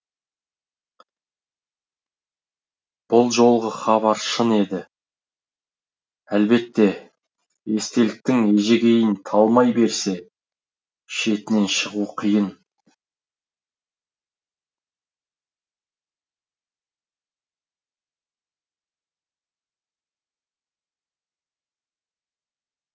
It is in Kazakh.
бұл жолғы хабар шын еді әлбетте естеліктің ежегейін талмай берсе шетінен шығу қиын